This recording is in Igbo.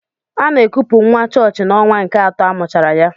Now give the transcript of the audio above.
Ana ekupu nwa chọọchị n'ọnwa nke atọ amụchara ya.